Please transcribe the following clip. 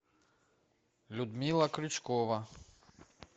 людмила крючкова